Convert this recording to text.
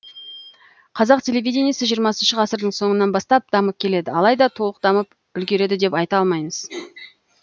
қазақ телевидениесі жиырмасыншы ғасырдың соңынан бастап дамып келеді алайда толық дамып үлгерді деп айта алмаймыз